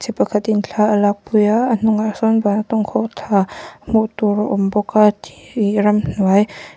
pakhat in thla alak pui a a hnungah sawn vantawng khawhthla hmuh tur a awm bawk a thi ramhnuai--